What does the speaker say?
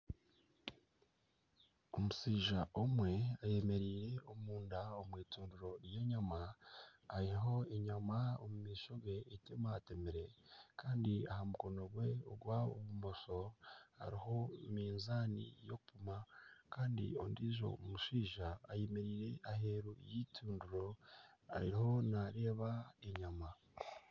Omushaija omwe ayemereire omunda omw'itundiro ry'enyama hariho enyama omu maisho ge etemateemire kandi aha mukono gwe ogwa bumosho hariho mizaani y'okumpima kandi ondiijo mushaija ayemereire aheeru y'eitundiro ariho naareeba enyama.